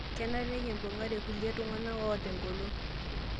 Kenare nikimbung'are kulie tung'ana oota engolon